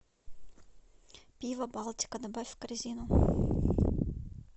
пиво балтика добавь в корзину